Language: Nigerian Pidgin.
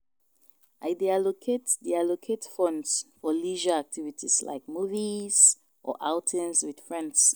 I dey allocate dey allocate funds for leisure activities like movies or outings with friends.